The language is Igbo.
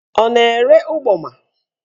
Ọ na-ere ụgbọma?